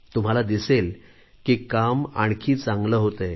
तुम्हाला दिसेल की काम आणखी चांगले होतेय